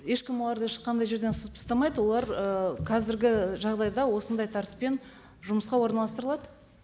ешкім оларды ешқандай жерден сызып тастамайды олар ы қазіргі жағдайда осындай тәртіппен жұмысқа орналастырылады